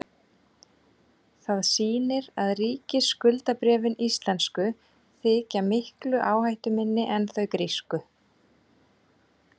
það sýnir að ríkisskuldabréfin íslensku þykja miklu áhættuminni en þau grísku